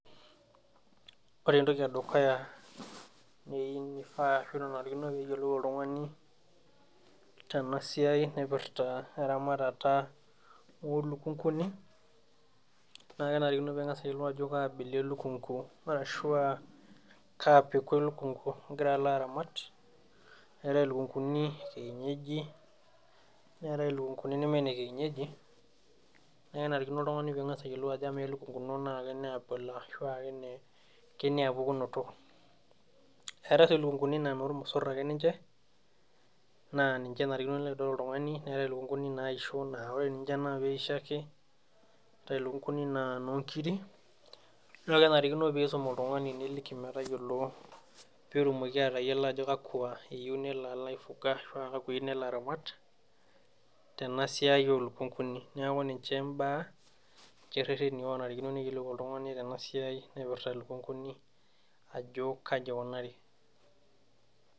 Ore entoki edukuya neiu nifaa ashu nanarikino piyiolou oltung'ani tena siai naipirta eramatata olukunguni naa kenarikino ping'as ayiolou ajo kaa abila elukungu arashua kaa peku elukungu igira alo aramat eetae ilukunguni e kienyeji neetae ilukunguni neme ine kienyeji ne kenarikino oltung'ani ning'as ayiolou ajo amaa elukungu ino naa kenia abila ashu kene kenia pukunoto eetae sii ilukunguni naa inormosorr ake ninche naa ninche enarikino nilo aitodol oltung'ani neetae ilukunguni naisho naa ore ninche naa peisho ake eetae ilukunguni naa inonkiri nito kenarikino piisum oltung'ani niliki metayiolo petumoki atayiolo ajo kakwa eyieu nelo alo aifuga ashua kakwa eiu nelo alo aramat tena siai olukunguni neeku ninche imbaa ninche irrereni onarikino neyiolou oltung'ani tena siai naipirta ilukunguni ajo kaji ikunari.